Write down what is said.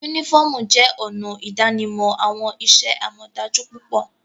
Unifọmú jẹ ọna idanimọ awọn iṣẹ-amọdaju pupọ.